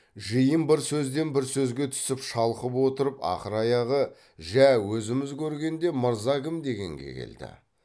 жиын бір сөзден бір сөзге түсіп шалқып отырып ақыр аяғы жә өзіміз көргенде мырза кім дегенге келді